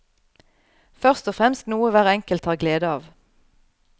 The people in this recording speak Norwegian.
Først og fremst noe hver enkelt har glede av.